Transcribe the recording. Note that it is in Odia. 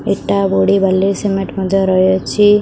ଇଟା ଗୋଡି ବାଲି ସିମେଣ୍ଟ୍ ମଧ୍ୟ ରହିଅଛି ।